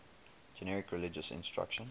generic religious instruction